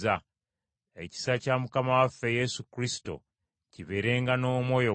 Ekisa kya Mukama waffe Yesu Kristo kibeerenga n’omwoyo gwammwe.